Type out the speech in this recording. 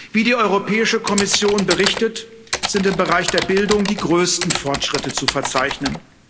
Wie die Europäische Kommission berichtet, sind im Bereich der Bildung die größten Fortschritte zu verzeichnen.